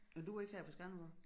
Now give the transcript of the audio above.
Nåh du er ikke her fra Skanderborg